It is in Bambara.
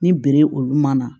Ni bere olu ma na